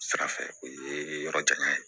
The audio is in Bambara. Sira fɛ o ye yɔrɔ janya ye